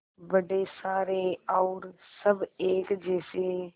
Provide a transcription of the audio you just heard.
बड़े सारे और सब एक जैसे